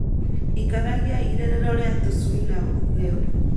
Ikaragia irerero rĩa tũcui na ũtheru.